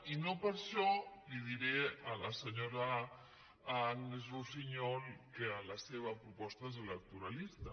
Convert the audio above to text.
i no per això li diré a la senyora agnès russiñol que la seva proposta és elec·toralista